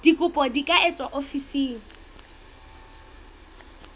dikopo di ka etswa ofising